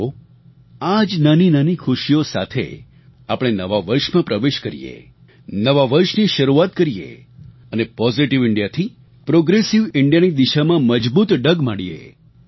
આવો આ જ નાનીનાની ખુશીઓ સાથે આપણે નવા વર્ષમાં પ્રવેશ કરીએ નવા વર્ષની શરૂઆત કરીએ અને પોઝિટિવ ઇન્ડિયાથી પ્રોગ્રેસિવ ઇન્ડિયાની દિશામાં મજબૂત ડગ માંડીએ